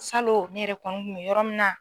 Salo ne yɛrɛ kɔni kun mɛ yɔrɔ min na.